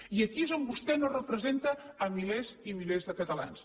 i aquí és on vostè no representa milers i milers de catalans